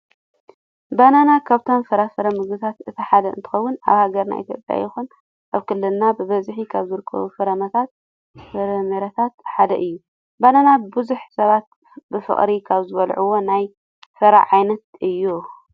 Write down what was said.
ባናና ካብቶም ፍራፍረ ምግብታት እቲ ሓደ እንትኸውን ኣብ ሃገርና ኢትዮጵያ ይኹን ኣብ ክልልና ብበዝሒ ካብ ዝርከቡ ፍራምረታት ሓደ እዩ። ባናና ብዙሕ ሰባት ብፍቅሪ ካብ ዝበለዕዎ ናይ ፍረ ዓይነት እዩ።